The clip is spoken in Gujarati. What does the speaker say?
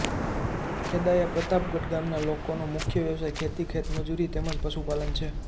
ખેદાયા પ્રતાપગઢ ગામના લોકોનો મુખ્ય વ્યવસાય ખેતી ખેતમજૂરી તેમ જ પશુપાલન છે